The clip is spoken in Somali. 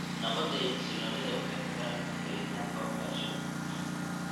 Nabadda iyo xasilloonida waxay ku xiran tahay helitaanka waxbarasho.